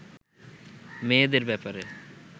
মেয়েদের ব্যাপারে